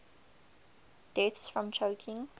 deaths from choking